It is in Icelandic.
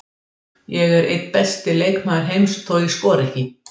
Ég er enn einn besti leikmaður heims þó ég skori ekki.